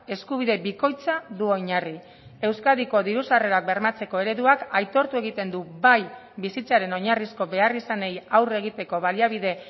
eskubide bikoitza du oinarri euskadiko diru sarrerak bermatzeko ereduak aitortu egiten du bai bizitzaren oinarrizko beharrizanei aurre egiteko baliabide